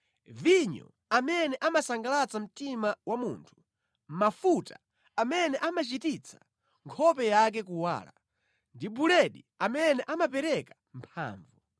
vinyo amene amasangalatsa mtima wa munthu, mafuta amene amachititsa nkhope yake kuwala, ndi buledi amene amapereka mphamvu.